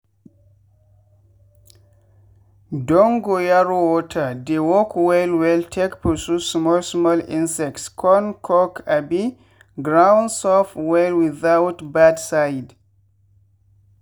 dongoyaro water dey work well well take pursue small small insects con make abi ground soft well without bad side.